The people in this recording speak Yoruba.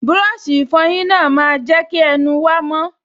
Búrọ̀sì ìfọyín náà máa n jẹ́ kí ẹnu wa mọ́